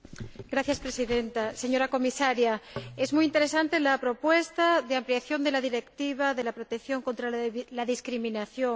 Señora Presidenta, señora Comisaria, es muy interesante la propuesta de ampliación de la Directiva de protección contra la discriminación